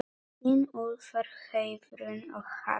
Þín Úlfar, Heiðrún og Harpa.